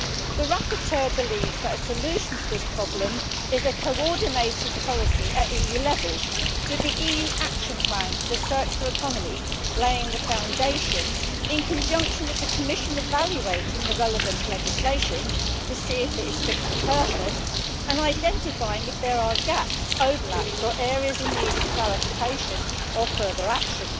The rapporteur believes that a solution to this problem is a coordinated policy at EU level with the EU action plan for the circular economy laying the foundation, in conjunction with the Commission evaluating the relevant legislation to see if it is fit for purpose and identifying if there are gaps, overlaps or areas in need of clarification or further action.